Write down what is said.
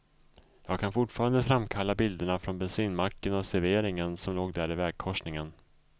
Jag kan fortfarande framkalla bilderna från bensinmacken och serveringen som låg där i vägkorsningen.